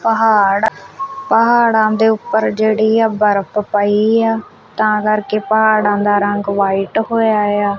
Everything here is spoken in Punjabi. ਪਹਾੜ ਪਹਾੜਾ ਦੇ ਉੱਪਰ ਜਿਹੜੀ ਆ ਬਰਫ ਪਈ ਆ ਤਾਂ ਕਰਕੇ ਪਹਾੜਾਂ ਦਾ ਰੰਗ ਵਾਈਟ ਹੋਇਆ ਆ।